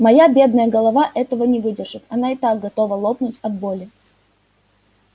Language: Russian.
моя бедная голова этого не выдержит она и так готова лопнуть от боли